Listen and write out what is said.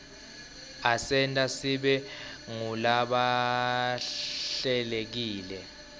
asenta sibe ngulabahlelekile